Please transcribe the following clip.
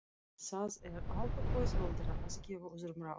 Það er alltaf auðveldara að gefa öðrum ráð.